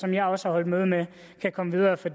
jeg også har holdt møde med kan komme videre for